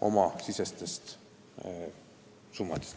oma summadest.